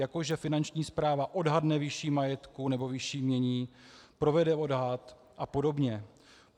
Jako že Finanční správa odhadne výši majetku nebo výši jmění, provede odhad a podobně.